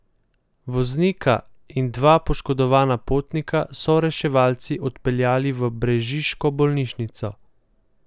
Voznika in dva poškodovana potnika so reševalci odpeljali v brežiško bolnišnico.